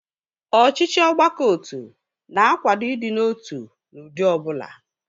Ọchịchị ọgbakọotu na-akwado ịdị n'otu n'ụdị ọbụla